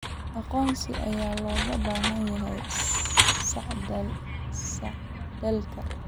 Aqoonsi ayaa looga baahan yahay socdaalka.